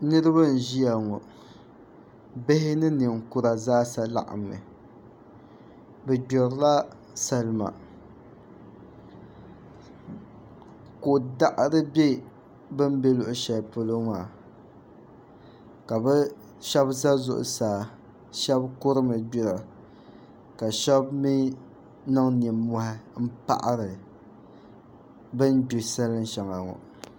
Niraba n ʒiya ŋo bihi ni ninkura zaa sa laɣammi bi gbirila salima ko daɣari bɛ bin bɛ luɣu shɛli polo maa ka bi shab ʒɛ zuɣusaa shab kurimi gbira ka shab mii niŋ nimmohi n paɣari bin gbi salin shɛŋa ŋo